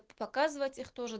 показывать их тоже